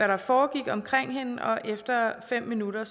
der foregik omkring hende og efter fem minutter